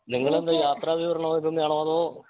നിങ്ങളെന്താ യാത്ര വിവരണം തന്നെയാണോ അതോ